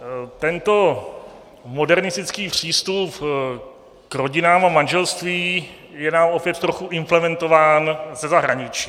Tento modernistický přístup k rodinám a manželství je nám opět trochu implementován ze zahraničí.